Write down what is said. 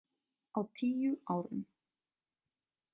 Á tíu árum.